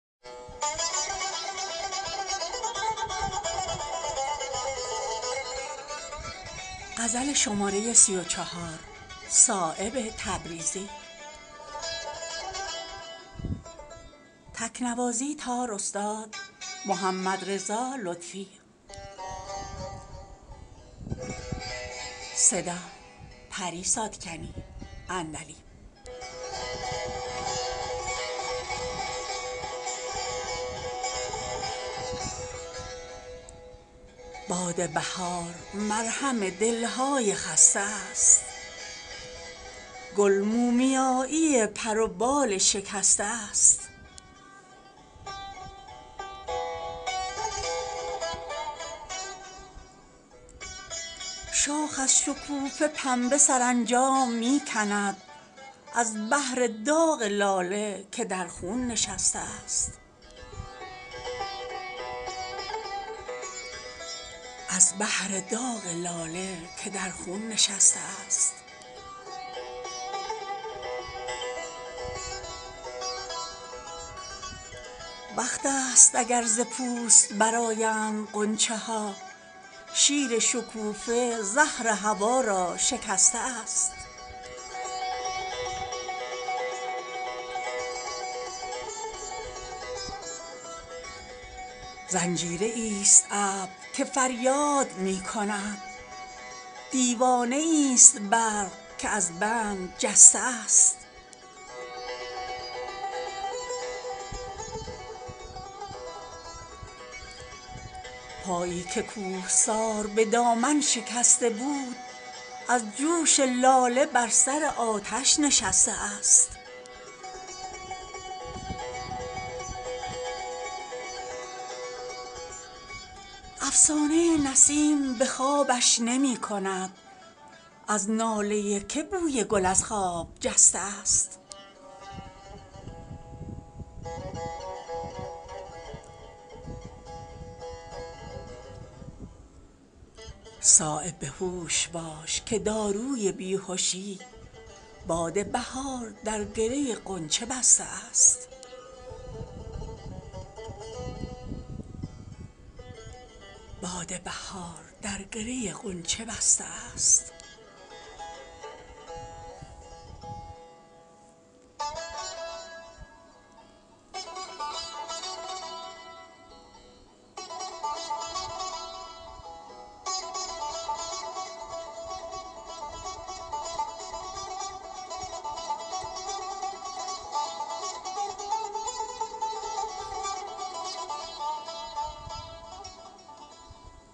باد بهار مرهم دلهای خسته است گل مومیایی پر و بال شکسته است شاخ از شکوفه پنبه سرانجام می کند از بهر داغ لاله که در خون نشسته است وقت است اگر ز پوست برآیند غنچه ها شیر شکوفه زهر هوا را شکسته است این سبزه نیست بر لب جو رسته نوبهار بر زخم خاک مرهم زنگار بسته است زنجیریی است ابر که فریاد می کند دیوانه ای است برق که از بند جسته است پایی که کوهسار به دامن شکسته بود از جوش لاله بر سر آتش نشسته است افسانه نسیم به خوابش نمی کند از ناله که بوی گل از خواب جسته است از جوش گل ز رخنه دیوار بوستان خورشید در کمین تماشا نشسته است صایب به هوش باش که داروی بیهشی باد بهار در گره غنچه بسته است